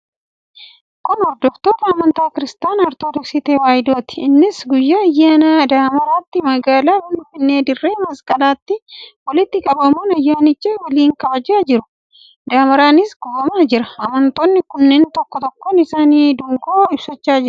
Kun hordoftoota amantaa Kiristaanaa Ortodoksii Tewaahidooti. Isaanis guyyaa ayyaana damaraatti magaalaa Finfinnee dirree masqalaatti walitti qabamuun ayyaanicha waliin kabajaa jiru. Damaraanis gubamaa jira. Amantoonni kunneen tokkoon tokkoon isaanii dungoo ibsachaa jiru.